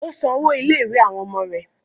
Ó san owó ilé-ìwé àwọn ọmọ rẹ̀.